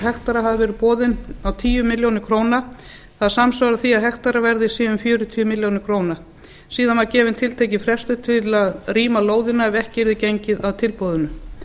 hektara hafi verið boðin á tíu milljónir króna það samsvarar því að hektarinn sé um fjörutíu milljónir króna síðan var gefinn til að rýma lóðina ef ekki yrði gengið frá tilboðinu